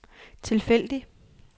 tilfældig